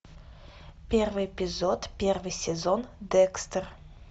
первый эпизод первый сезон декстер